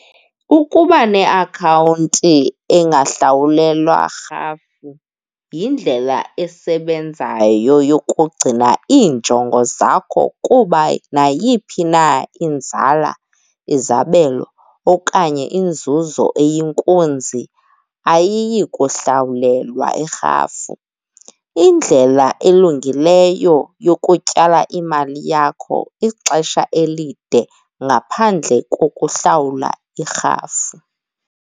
Ukuba neakhawunti engahlawulelwa rhafu yindlela esebenzayo yokugcina iinjongo zakho kuba nayiphi na inzala, izabelo okanye inzuzo eyinkunzi ayiyi kuhlawulelwa irhafu. Indlela elungileyo yokutyala imali yakho ixesha elide ngaphandle kokuhlawula irhafu.